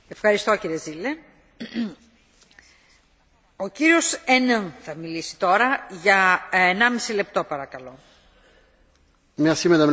Madame la Présidente, je pense qu'il est tout d'abord essentiel de rappeler dans ce dossier, comme dans d'autres, que le principe de précaution doit prévaloir dès lors que des vies humaines sont en jeu.